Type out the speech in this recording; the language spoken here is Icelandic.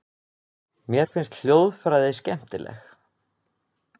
Mér finnst hljóðfræði skemmtileg.